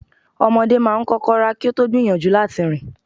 Ọmọdé máa ń kọ́kọ́ rá kí ó tó gbìyànjú láti rìn.